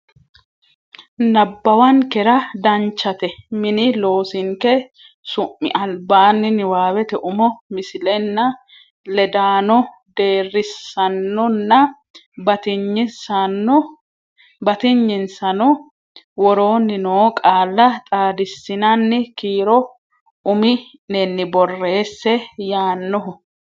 nabbawankera Danchate mini loosinke su mi albaanni niwaawete umo misilenna ledaano deerrisaannonna batinyisaano woroonni noo qaalla xaadissinanni kiiro umi nenni borreesse yaannoho.